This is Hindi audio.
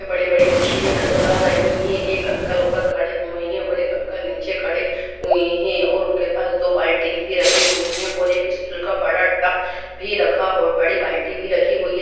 बड़ी-बड़ी मशीने नज़र आ रही है। एक अंकल ऊपर खड़े हुए हैं और एक अंकल नीचे खड़े हुए हैं और उनके पास दो बाल्टिए भी रखी हुई हैं और एक स्टील का बड़ा टप भी रखा बड़ी बाल्टी भी रखी हुई है।